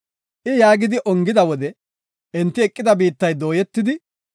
I yaagidi ongida wode enti eqida biittay dooyetidi,